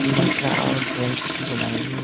lopra aur grey chee chutelayeboo.